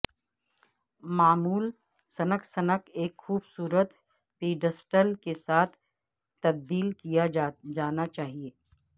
معمول sink sink ایک خوبصورت پیڈسٹل کے ساتھ تبدیل کیا جانا چاہئے